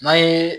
N'an ye